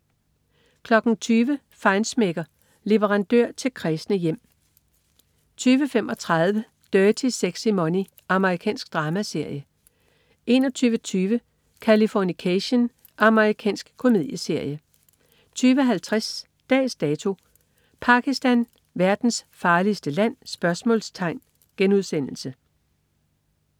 20.00 Feinschmecker. Leverandør til kræsne hjem 20.35 Dirty Sexy Money. Amerikansk dramaserie 21.20 Californication. Amerikansk komedieserie 22.50 Dags Dato: Pakistan, verdens farligste land?*